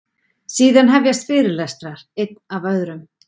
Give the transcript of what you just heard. Síðan hefjast fyrirlestrar, einn af öðrum.